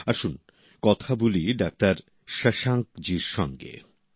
আসুন কথা বলি ডাক্তার শশাঙ্কের জি সঙ্গে ঃ